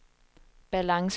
balance